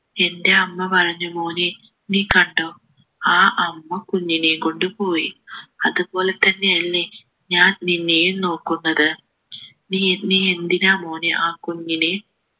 എൻ്റെ അമ്മ പറഞ്ഞു മോനെ നീ കണ്ടോ ആ അമ്മ കുഞ്ഞിനെയും കൊണ്ട് പോയി അതുപോലെ തന്നെയല്ലേ ഞാൻ നിന്നെയും നോക്കുന്നത് നീ നീ എന്തിനാ മോനെ ആ കുഞ്ഞിനെ